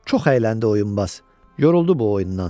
Çox əyləndi oyunbaz, yoruldu bu oyundan.